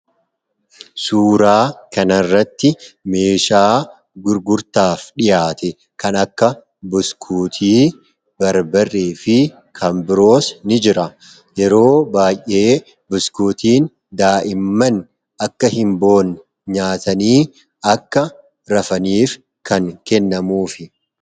suuraa kanarratti meeshaa gurgurtaaf dhihaate kan akka buskuutii barbarre fi kaambiroos ni jira yeroo baay'ee buskuutiin daa'imman akka hin boonne nyaatanii akka rafaniif kan kennamuufi